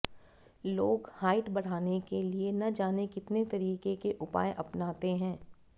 लोग हाइट बढ़ाने के लिए न जाने कितने तरीके के उपाय अपनाता है